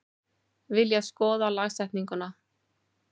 Vilja skoða lagasetningu